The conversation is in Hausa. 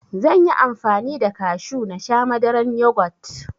Zanyi amfani da kashu nasha Madaran yugot